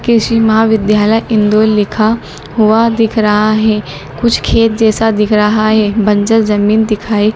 क़ृषि महाविद्यालय इंदौर लिखा हुआ दिख रहा है कुछ खेत जैसा दिख रहा है बंजर जमीन दिखाई--